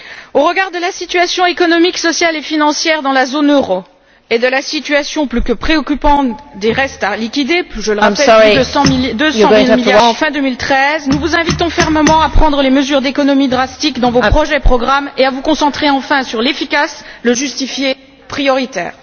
Au regard de la situation économique, sociale et financière dans la zone euro et de la situation plus que préoccupante des restes à liquider plus de 200 milliards d'euros fin 2013, nous vous invitons fermement à prendre des mesures d'économie drastiques dans vos projets et programmes et à vous concentrer enfin sur l'efficace, le justifié et le prioritaire.